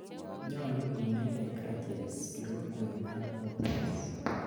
nyalu inaite crutches kirokwek ak walkers